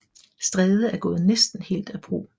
Stræde er gået næsten helt af brug